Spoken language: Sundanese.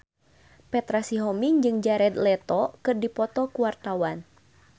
Petra Sihombing jeung Jared Leto keur dipoto ku wartawan